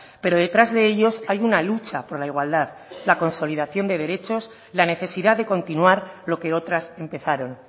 pero detrás de ellos hay una lucha por la igualdad la consolidación de derechos la necesidad de continuar lo que otras empezaron